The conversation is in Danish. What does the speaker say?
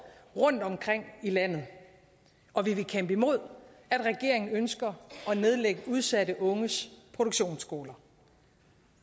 rundtomkring i landet og vi vil kæmpe imod at regeringen ønsker at nedlægge udsatte unges produktionsskoler